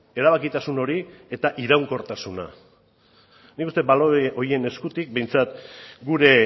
erabakitasun hori eta iraunkortasuna nik uste balore horien eskutik behintzat gure